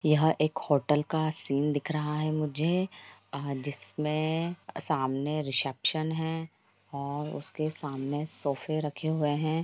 यह एक होटल का सीन दिख रहा है मुझे आह जिसमें समाने रिसेप्सन है और उसके सामने सोफे रखे हुए हैं।